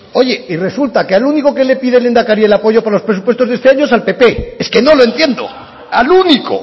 oye y resulta que al único al que le pide el lehendakari el apoyo para los presupuestos de este año es al pp es que no lo entiendo al único